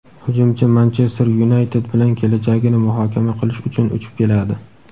hujumchi "Manchester Yunayted" bilan kelajagini muhokama qilish uchun uchib keladi.